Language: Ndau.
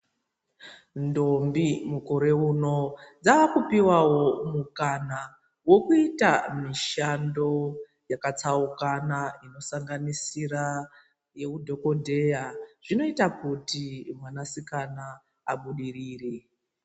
Ndombi mukore uno dzakupuwawo mukana wekuita mishando yakatsaukana inosanganisira yechidhokotera inoita kuti mwana sikana abudirire.